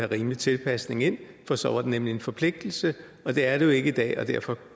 rimelig tilpasning ind for så var det nemlig en forpligtelse det er det jo ikke i dag og derfor